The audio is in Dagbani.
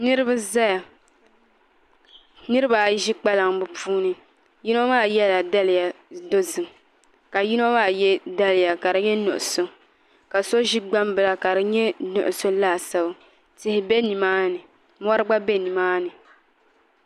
Niraba ʒɛya niraba ayi ʒi kpalaŋ bi puuni yino maa yɛla daliya dozim ka yino maa yɛ daliya ka di nyɛ nuɣso ka so ʒi gbambila ka di nyɛ nuɣso laasabu tihi bɛ nimaani mori gba bɛ nimaani